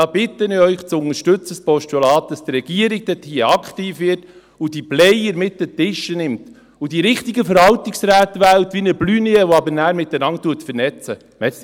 Ich bitte Sie, das Postulat zu unterstützen, damit die Regierung hier aktiv wird, diese Player mit an den Tisch nimmt und die richtigen Verwaltungsräte wählt, wie einen Blunier, der aber dann miteinander vernetzt.